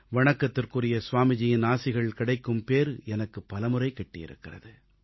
வணக்கத்துக்குரிய ஸ்வாமிஜியின் ஆசிகள் கிடைக்கும் பேறு எனக்குப் பலமுறை கிட்டியிருக்கிறது